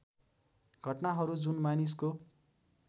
घटनाहरू जुन मानिसको